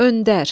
Öndər.